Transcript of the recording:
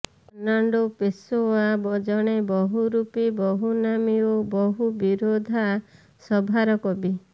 Fernando Pessoa ଜଣେ ବହୁରୂପୀ ବହୁନାମୀ ଓ ବହୁ ବିରୋଧାଭାସର କବି